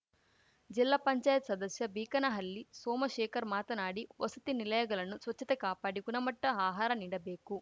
ಜಿಲ್ಲಾ ಪಂಚಾಯ್ತಿ ಸದಸ್ಯ ಬೀಕನಹಳ್ಳಿ ಸೋಮಶೇಖರ್‌ ಮಾತನಾಡಿ ವಸತಿ ನಿಲಯಗಲನ್ನು ಸ್ವಚ್ಛತೆ ಕಾಪಾಡಿ ಗುಣಮಟ್ಟ ಆಹಾರ ನೀಡಬೇಕು